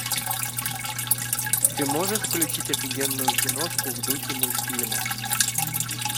ты можешь включить офигенную киношку в духе мультфильма